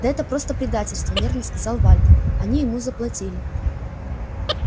да это просто предательство нервно сказал вальто они ему заплатили